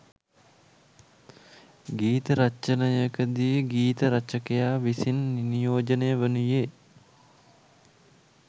ගීත රචනයකදී ගීත රචකයා විසින් නියෝජනය වනුයේ